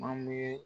An bɛ